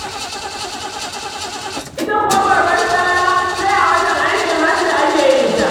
Ita kuwa babbar salla, sai a watan aikin Hajji ake yin ta.